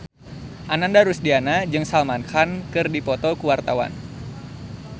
Ananda Rusdiana jeung Salman Khan keur dipoto ku wartawan